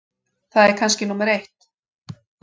Það er kannski númer eitt.